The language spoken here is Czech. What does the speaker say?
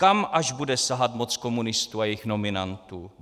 Kam až bude sahat moc komunistů a jejich nominantů?